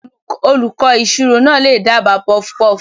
Olùkọ́ ìṣirò náà lè dábàá puffpuff.